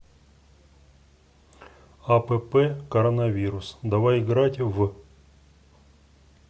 апп коронавирус давай играть в